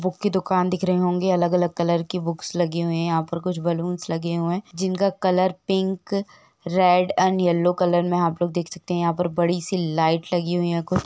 Book की दुकान दिख रहे होंगे अलग-अलग कलर की। बुक्स लगी हुई है। यहाँ पर कुछ बलून्स लगे हुए है। जिनका colour pink red and yellow colour में आपलोग देख सकते है। यहाँ पर बड़ी सी लाइट लगी हुई है कुछ --